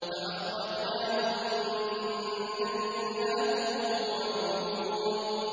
فَأَخْرَجْنَاهُم مِّن جَنَّاتٍ وَعُيُونٍ